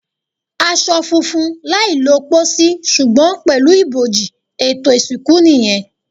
Aṣọ funfun, láì lọ pòsì, ṣùgbọ́n pẹ̀lú ibojì; ètò ìsìnkú nìyẹn.